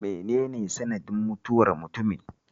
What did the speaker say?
Mene ne sanadin mutuwar mutumin?